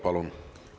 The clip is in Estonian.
Palun!